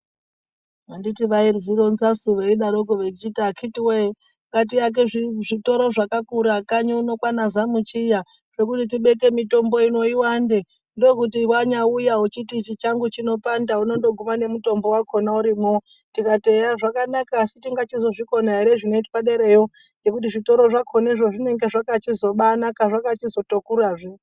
Anditi vaizvironzasu veidaroko vechiti, "Akhitiweee ngatiake zvizvitoro zvakakura kanyi uno kwaana Zamchiya ,zvekuti tibeke mitombo ino iwande. Ndokuti wanyauya wechiti ichi changu chinopanda unondoguma nemitombo wakhona urimwo".Tikati,"Eya zvakanaka. Tingachizozvikona ere zvinoitwe derayo ,ngekuti zvitoro zvakhonezvo zvinonga zvakachizobaanaka zvakachizotokurazve."